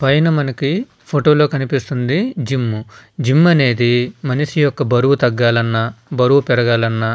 పైన మనకి ఫోటో లో కనిపిస్తుంది జిం . జిం అనేది మనిషి ఒక బరువు తాగాలి అన్న బరువు పెరుగాలి అన్న --